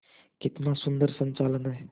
कितना सुंदर संचालन है